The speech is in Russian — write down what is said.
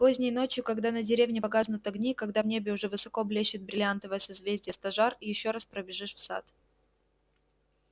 поздней ночью когда на деревне погаснут огни когда в небе уже высоко блещет бриллиантовое созвездие стожар ещё раз пробежишь в сад